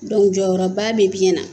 Dɔnku jɔyɔrɔba bɛ biyɛn na.